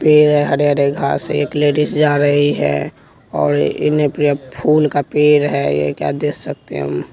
पेड़ है हरे हरे घासें एक लेडीस जा रही है और इन्ह फूल का पेड़ है यह क्या देख सकते हैं हम --